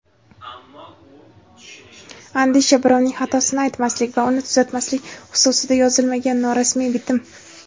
Andisha – birovning xatosini aytmaslik va uni tuzatmaslik xususida yozilmagan norasmiy bitim.